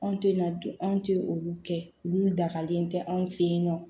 Anw tɛ na dun anw tɛ olu kɛ olu la dakalen tɛ anw fɛ yen nɔ